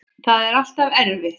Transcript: Það er alltaf erfitt.